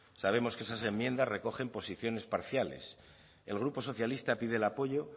sabemos que esas enmiendas recogen posiciones parciales el grupo socialista pide el apoyo